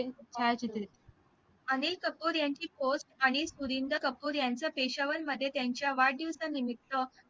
अनिल कपूर यांची आणि सुरिनदर कपुर यांचा पेशावर मध्ये त्यांच्या वाढदिवसानिमित्त